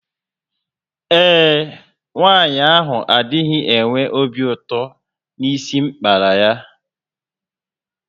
Ee e, nwanyị ahụ adịghị enwe obi ụtọ na isi m kpara ya